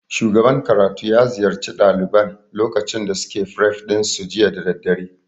Shugaban karatu ya ziyarci ɗaliban lokacin da suke fref ɗin su jiya da daddare